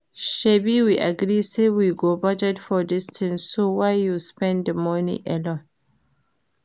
Shebi we agree say we go budget for dis thing so why you spend the money alone